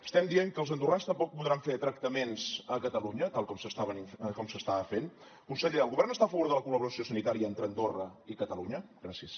estem dient que els andorrans tampoc podran fer tractaments a catalunya tal com s’estava fent conseller el govern està a favor de la col·laboració sanitària entre andorra i catalunya gràcies